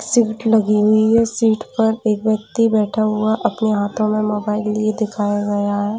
Seat लगी हुई है सिट पर एक व्यक्ति बैठा हुआ अपने हाथों में मोबाइल लिए दिखाया गया है।